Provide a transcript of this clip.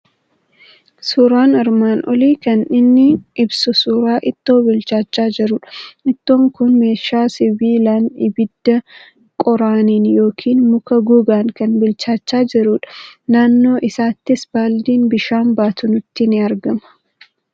Suuraan armaan olii kan innin ibsu suuraa ittoo bilchaachaa jirudha. Ittoon kun meeshaa sibiilaan, ibidda qoraaniin yookiin muka gogaan kan bilchaachaa jirudha. Naannoo isaatti baaldiin bishaan baatu nutti ni argama.